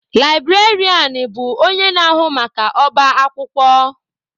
Librarianụ bụ onye na-ahụ maka ọba akwụkwọ.